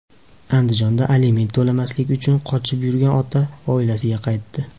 Andijonda aliment to‘lamaslik uchun qochib yurgan ota oilasiga qaytdi.